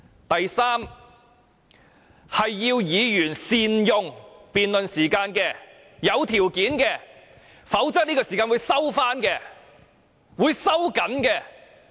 第三，是要求議員善用辯論時間，這是有條件的，否則這段時間便會收回、收緊。